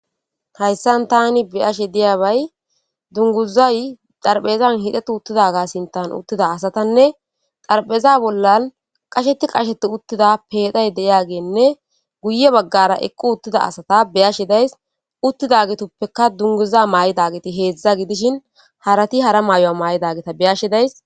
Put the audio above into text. hayssan tani beyashe diyabay dunguzay xarphphezan hixetti uttida ga sinttan uttida asatanne xarphpheza bollan qasheti qasheti uttida peexay deyageynne guye baggara eqqi uttida asatta be'ashe days uttidagetupekka dunguza maa'idageti heedzdza gidishin harati hara may'uwaa may'idageta beyashi days